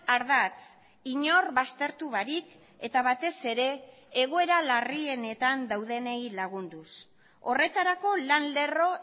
ardatz inor baztertu barik eta batez ere egoera larrienetan daudenei lagunduz horretarako lan lerro